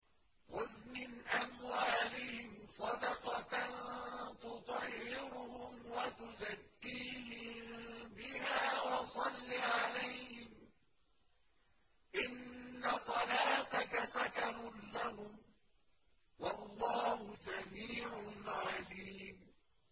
خُذْ مِنْ أَمْوَالِهِمْ صَدَقَةً تُطَهِّرُهُمْ وَتُزَكِّيهِم بِهَا وَصَلِّ عَلَيْهِمْ ۖ إِنَّ صَلَاتَكَ سَكَنٌ لَّهُمْ ۗ وَاللَّهُ سَمِيعٌ عَلِيمٌ